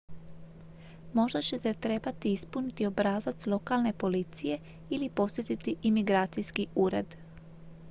možda ćete trebati ispuniti obrazac lokalne policije ili posjetiti imigracijski ured